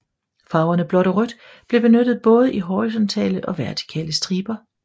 Farverne blåt og rødt blev benyttet både i horisontale og vertikale striber